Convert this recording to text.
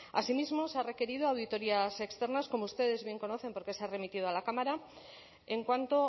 asimismo se ha requerido auditorías externas como ustedes bien conocen porque se ha remitido a la cámara en cuanto